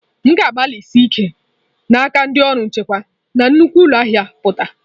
M na-agbalị isi n'aka ndị ọrụ nchekwa na nnukwu ụlọ ahịa pụta.